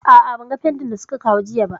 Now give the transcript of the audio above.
A'a, ban ga fentin da su ka kawo jiya ba